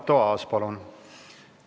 Arto Aas, palun!